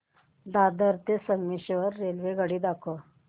दादर ते संगमेश्वर रेल्वेगाडी दाखव